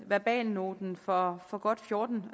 verbalnoten for for godt fjorten